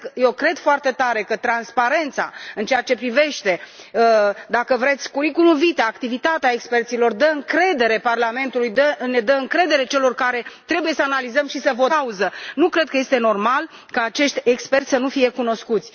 Cred foarte tare că transparența în ceea ce privește, dacă vreți, curriculumul vitae, activitatea experților, dă încredere Parlamentului, ne dă încredere celor care trebuie să analizăm și să votăm în cunoștință de cauză. Nu cred că este normal ca acești experți să nu fie cunoscuți.